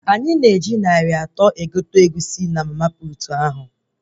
Anyị gotere Egusi narị atọ na mama puutu ahụ